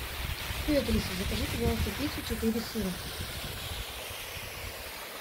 привет алиса закажи пожалуйста пиццу четыре сыра